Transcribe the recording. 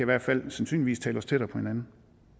hvert fald sandsynligvis tale os tættere på hinanden